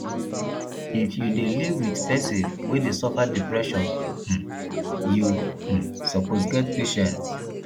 if you dey live wit pesin wey dey suffer depression um you um suppose get patience